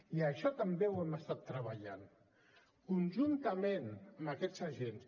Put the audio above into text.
i això també ho hem estat treballant conjuntament amb aquests agents